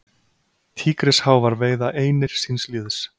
Tígrisháfar veiða einir síns liðs.